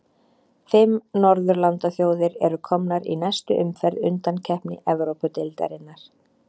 Fimm norðurlandaþjóðir eru komnar í næstu umferð undankeppni Evrópudeildarinnar.